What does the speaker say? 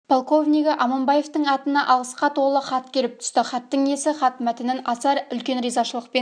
полковнигі аманбаевтың атына алғысқа толы хат келіп түсті хаттың иесі хат мәтінін аса үлкен ризашылықпен